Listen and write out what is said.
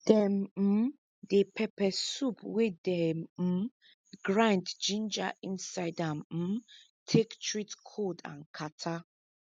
dem um dey pepper soup wey dem um grind ginger inside am um take treat kold with katarrh